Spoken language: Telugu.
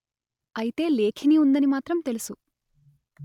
అయితే లేఖిని ఉందని మాత్రం తెలుసు